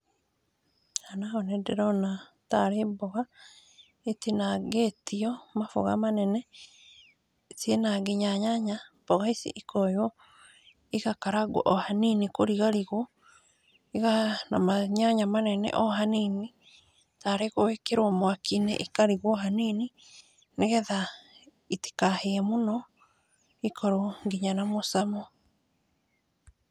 Haha naho nĩ ndĩrona nĩ tarĩ mboga itinangĩtio, mamboga manene, ciĩna nginya nyanya, mboga ici ikoywo igakaragwo o hanini , kũrigarigwo o na manyanya manene o hanini, tarĩ gwĩkĩrwo mwaki-inĩ ikarigwo hanini, nĩgetha itikahĩe mũno ikorwo nginya na mũcamo.